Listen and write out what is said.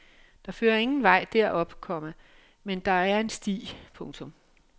Der fører ingen vej derop, komma men der en en sti. punktum